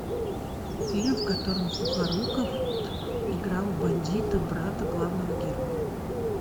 фильм в котором сухоруков играл бандита брата главного героя